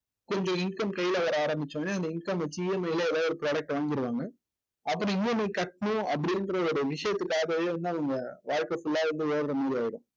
கொஞ்சம் income கையில வர ஆரம்பிச்ச உடனே அந்த income அ வெச்சு EMI ல ஏதாவது ஒரு product அ வாங்கிருவாங்க. அப்படி EMI கட்டணும் அப்படின்ற ஒரு விஷயத்துக்காகவே வந்து அவங்க வாழ்க்கை full ஆ வந்து